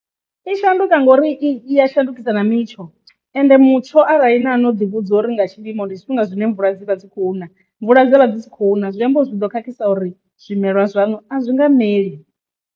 I shanduka ngori i ya shandukisa na mitsho ende mutsho arali na no ḓi vhudza uri nga tshilimo ndi tshifhinga zwine mvula dzi vha dzi khou na mvula dza vha dzi khou na zwiambari zwi do khakhisa uri zwimelwa zwaṋu a zwi nga meli.